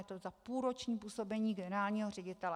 Je to za půlroční působení generálního ředitele.